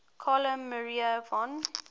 carl maria von